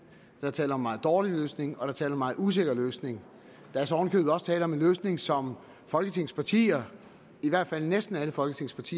der er tale om en meget dårlig løsning og der er meget usikker løsning der er så oven også tale om en løsning som folketingets partier i hvert fald næsten alle folketingets